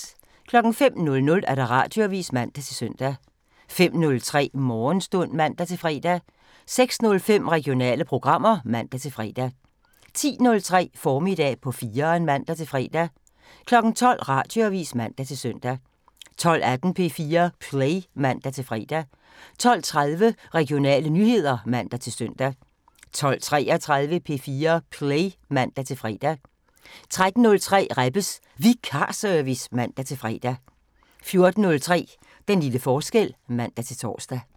05:00: Radioavisen (man-søn) 05:03: Morgenstund (man-fre) 06:05: Regionale programmer (man-fre) 10:03: Formiddag på 4'eren (man-fre) 12:00: Radioavisen (man-søn) 12:18: P4 Play (man-fre) 12:30: Regionale nyheder (man-søn) 12:33: P4 Play (man-fre) 13:03: Rebbes Vikarservice (man-fre) 14:03: Den lille forskel (man-tor)